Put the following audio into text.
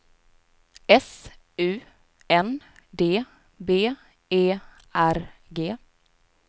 S U N D B E R G